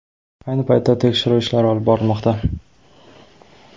Ayni paytda tekshiruv ishlari olib borilmoqda.